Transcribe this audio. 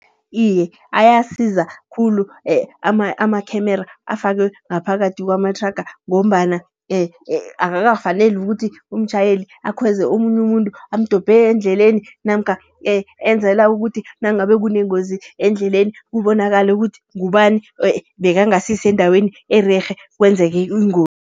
Iye, ayasiza khulu amakhemere afakwe ngaphakathi kwamathraga. Ngombana akakafaneli ukuthi umtjhayeli akhweze omunye umuntu, amdobhe endleleni. Namkha enzela ukuthi nangabe kunengozi endleleni, kubonakale ukuthi ngubani, ebekangasisendaweni ererhe nakwenzeka ingozi.